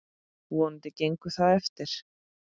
Vonandi gengur það eftir.